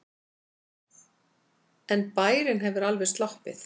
En bærinn hefur alveg sloppið.